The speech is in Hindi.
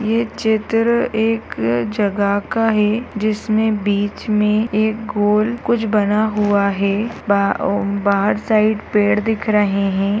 ये चित्र एक जगह का है जिसमें बीच में एक गोल कुछ बना हुआ है बा ओम बाहर साइड पेड़ दिख रहे है।